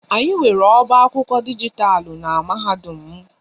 Anyị nwere oba akwụkwọ dijitalụ n'mahadum m